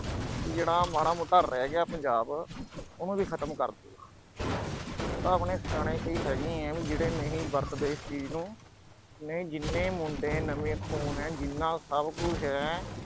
ਜਿਹੜਾ ਮਾੜਾ-ਮੋਟਾ ਰਹਿ ਗਿਆ, ਪੰਜਾਬ ਅਹ ਉਹਨੂੰ ਵੀ ਖ਼ਤਮ ਕਰਦੂ, ਉਹ ਤਾਂ ਆਪਣੇ ਸਿਆਣੇ ਕਈ ਹੈਗੇ ਆ ਵੀ ਜਿਹੜੇ ਨਹੀਂ ਵਰਤਦੇ ਇਸ ਚੀਜ਼ ਨੂੰ, ਨਹੀਂ, ਜਿੰਨੇ ਮੁੰਡੇ ਨਵੇਂ ਖੂਨ ਆ, ਜਿੰਨਾ ਸਭ ਕੁਛ ਆ ਅਹ